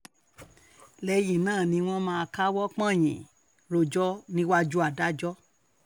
lẹ́yìn náà ni wọ́n máa káwọ́ pọ̀nyìn rojọ́ níwájú adájọ́